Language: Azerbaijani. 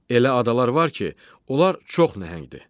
Elə adalar var ki, onlar çox nəhəngdir.